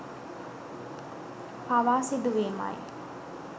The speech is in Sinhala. පවා සිදුවීමයි